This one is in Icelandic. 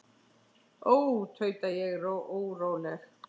Ó, tauta ég óróleg.